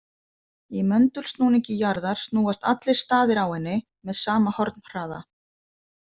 Í möndulsnúningi jarðar snúast allir staðir á henni með sama hornhraða.